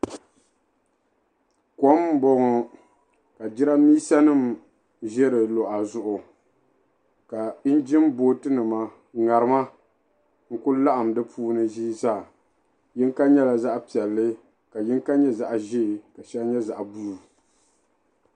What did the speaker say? Kom m-bɔŋɔ ka jiramiinsanima ʒe di luɣa zuɣu ka "engine boat"nima ŋarimnima n-kuli laɣim di puuni ʒii zaa yiŋga nyɛla zaɣ'piɛlli ka yiŋga nyɛ zaɣ'ʒee ka shɛli nyɛ zaɣ' "blue".